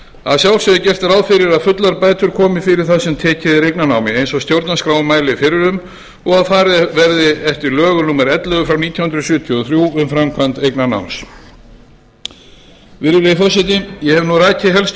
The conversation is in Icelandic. að sjálfsögðu er gert ráð fyrir að fullar bætur komi fyrir það sem tekið er eignarnámi eins og stjórnarskráin mælir fyrir um og að farið verði eftir lögum númer ellefu nítján hundruð sjötíu og þrjú um framkvæmd eignarnáms ég hef nú rakið helstu